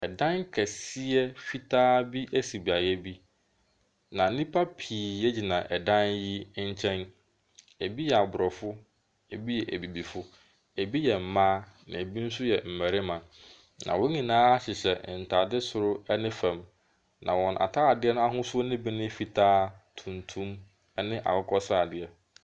Dan kɛseɛ fitaa bi si beaeɛ bi, na nnipa pii gyina dan yi nkyɛn, ɛbi yɛ aborɔfo, bi yɛ abibifo, bi yɛ mmaa na bi nso yɛ mmarima. Na wɔn nyinaa hyehyɛ ntaade soro ne fam, na wɔn ataade no ahosuo ne bi ne fitaa, tuntum ne akokɔsradeɛ.